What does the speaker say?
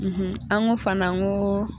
an ko fana n koo.